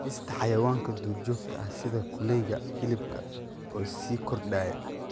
Beerista xayawaanka duurjoogta ah sida kuleyga hilibka oo sii kordhaya.